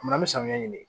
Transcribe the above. N'an bɛ samiya ɲini de